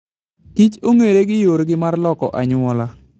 Kich onge're gi yorgi mar loko anyuola.